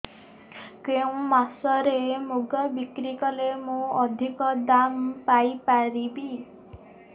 କେଉଁ ସମୟରେ ମୁଗ ବିକ୍ରି କଲେ ମୁଁ ଅଧିକ ଦାମ୍ ପାଇ ପାରିବି